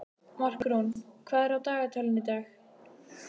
Markrún, hvað er í dagatalinu í dag?